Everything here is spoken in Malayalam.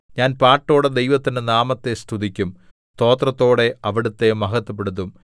ഞാൻ പാട്ടോടെ ദൈവത്തിന്റെ നാമത്തെ സ്തുതിക്കും സ്തോത്രത്തോടെ അവിടുത്തെ മഹത്വപ്പെടുത്തും